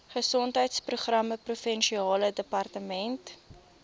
gesondheidsprogramme provinsiale departement